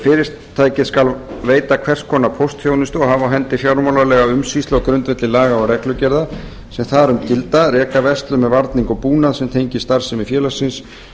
fyrirtæki skal veita hvers konar póstþjónustu og hafa á hendi fjármálalega umsýslu á grundvelli laga og reglugerða sem þar um gilda reka verslun með varning og búnað sem tengist starfsemi félagsins